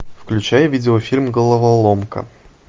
включай видеофильм головоломка